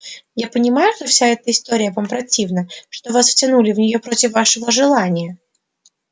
я понимаю что вся эта история вам противна что вас втянули в нее против вашего желания